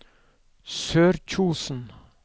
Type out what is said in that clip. Sørkjosen